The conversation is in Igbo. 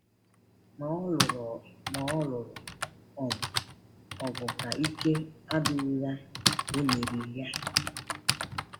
Ma ọ lụrụ Ma ọ lụrụ um ọgụ ka ike adịghị ya emeri ya.